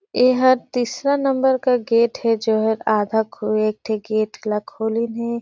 एहर तीसरा नंबर का गेट है जोहर आधा खो एक ठे गेट ला खोलिन है।